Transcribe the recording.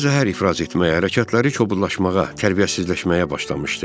Ağlı zəhər ifraz etmə hərəkətləri kobudlaşmağa, tərbiyəsizləşməyə başlamışdı.